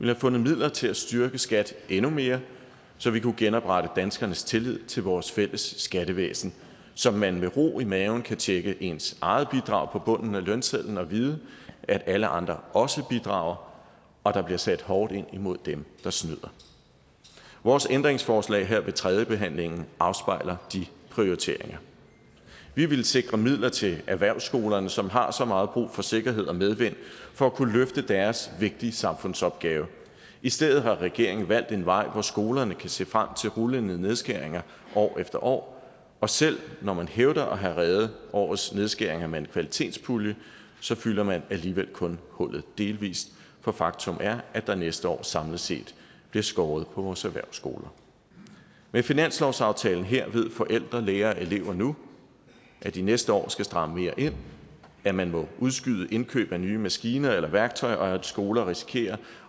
have fundet midler til at styrke skat endnu mere så vi kunne genoprette danskernes tillid til vores fælles skattevæsen så man med ro i maven kan tjekke ens eget bidrag på bunden af lønsedlen og vide at alle andre også bidrager og at der bliver sat hårdt ind imod dem der snyder vores ændringsforslag her ved tredjebehandlingen afspejler de prioriteringer vi ville sikre midler til erhvervsskolerne som har så meget brug for sikkerhed og medvind for at kunne løfte deres vigtige samfundsopgave i stedet har regeringen valgt en vej hvor skolerne kan se frem til rullende nedskæringer år efter år og selv når man hævder at have reddet årets nedskæringer med en kvalitetspulje så fylder man alligevel kun hullet delvis for faktum er at der næste år samlet set bliver skåret på vores erhvervsskoler med finanslovsaftalen her ved forældre lærere og elever nu at de næste år skal stramme mere ind at man må udskyde indkøb af nye maskiner eller værktøjer og at skoler risikerer at